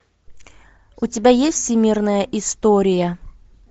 у тебя есть всемирная история